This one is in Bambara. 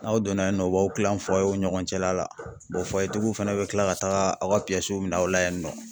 N'aw donna yen nɔ u b'aw kilan ni ɲɔgɔn cɛla la tigiw fɛnɛ bɛ kila ka taga aw ka minɛ aw la yen nɔ.